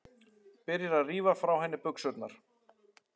Byrjar að rífa frá henni buxurnar.